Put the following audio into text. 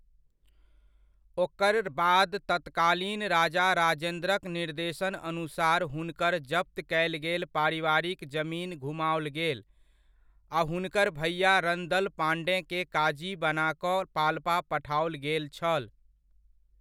ओकर बाद तत्कालीन राजा राजेन्द्रक निर्देशन अनुसार हुनकर जफत कयल गेल पारिवारिक जमीन घुमाओल गेल आ हुनकर भैआ रणदल पाँडेकेँ काजी बना कऽ पाल्पा पठाओल गेल छल।